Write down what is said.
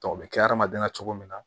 o bɛ kɛ hadamaden na cogo min na